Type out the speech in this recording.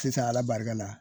Sisan ala barika la